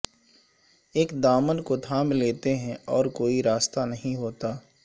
ایک دامن کو تھام لیتے ہیں اور کوئی راستہ نہیں ہوتا